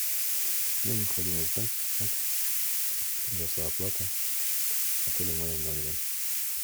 мне необходимо узнать как произошла оплата отеля в моем номере